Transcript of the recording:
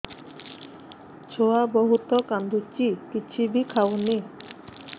ଛୁଆ ବହୁତ୍ କାନ୍ଦୁଚି କିଛିବି ଖାଉନି